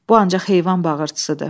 Bu ancaq heyvan bağırtısıdır.